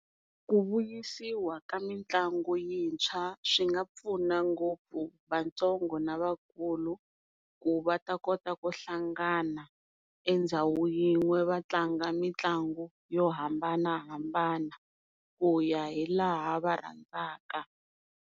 Ku vuyisiwa ka mitlangu yintshwa swi nga pfuna ngopfu vatsongo na vakulu ku va ta kota ku hlangana endhawu yin'we va tlanga mitlangu yo hambanahambana ku ya hi laha va rhandzaka.